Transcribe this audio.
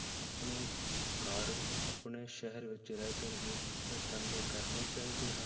ਆਪਣੇ ਘਰ ਆਪਣੇ ਸ਼ਹਿਰ ਵਿੱਚ ਰਹਿ ਕਰ ਹੀ ਇਹ ਧੰਦੇ ਕਰਨੇ ਚਾਹੀਦੇ ਹਨ?